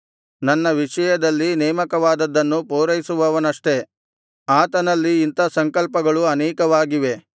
ನನ್ನ ವಿಷಯದಲ್ಲಿ ನೇಮಕವಾದದ್ದನ್ನು ಪೂರೈಸುವವನಷ್ಟೆ ಆತನಲ್ಲಿ ಇಂಥಾ ಸಂಕಲ್ಪಗಳು ಅನೇಕವಾಗಿವೆ